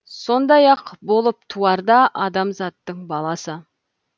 сондай ақ болып туар да адамзаттың баласы